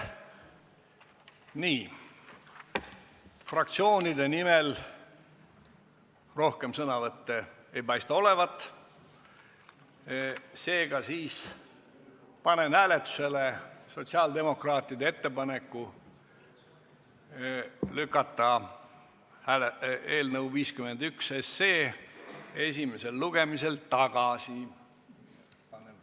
Nii, fraktsioonide nimel rohkem sõnavõtte ei paista olevat, seega panen hääletusele sotsiaaldemokraatide ettepaneku lükata eelnõu 51 esimesel lugemisel tagasi.